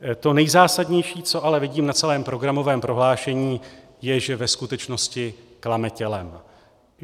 To nejzásadnější, co ale vidím na celém programovém prohlášení je, že ve skutečnosti klame tělem.